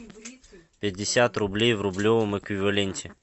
пятьдесят рублей в рублевом эквиваленте